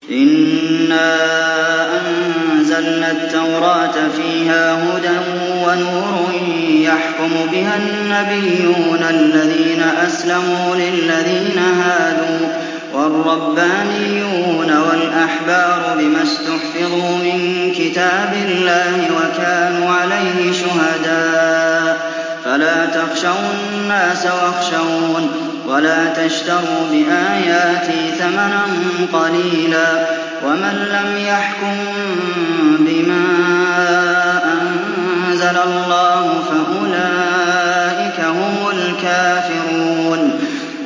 إِنَّا أَنزَلْنَا التَّوْرَاةَ فِيهَا هُدًى وَنُورٌ ۚ يَحْكُمُ بِهَا النَّبِيُّونَ الَّذِينَ أَسْلَمُوا لِلَّذِينَ هَادُوا وَالرَّبَّانِيُّونَ وَالْأَحْبَارُ بِمَا اسْتُحْفِظُوا مِن كِتَابِ اللَّهِ وَكَانُوا عَلَيْهِ شُهَدَاءَ ۚ فَلَا تَخْشَوُا النَّاسَ وَاخْشَوْنِ وَلَا تَشْتَرُوا بِآيَاتِي ثَمَنًا قَلِيلًا ۚ وَمَن لَّمْ يَحْكُم بِمَا أَنزَلَ اللَّهُ فَأُولَٰئِكَ هُمُ الْكَافِرُونَ